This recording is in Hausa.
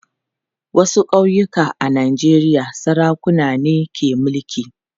Wasu ƙauyuka a Najeriya sarakuna ne ke mulki.